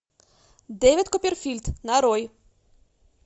дэвид копперфильд нарой